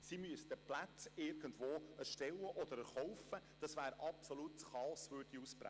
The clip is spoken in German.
Sie müssten die Plätze irgendwo erstellen oder kaufen – absolutes Chaos würde ausbrechen.